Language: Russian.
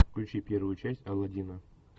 включи первую часть алладина